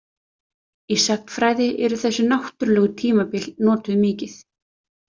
Í sagnfræði eru þessi náttúrlegu tímabil notuð mikið.